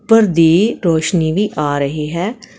ਉੱਪਰ ਦੀ ਰੋਸ਼ਨੀ ਵੀ ਆ ਰਹੀ ਹੈ।